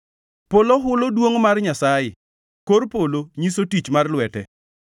Polo hulo duongʼ mar Nyasaye; kor polo nyiso tich mar lwete.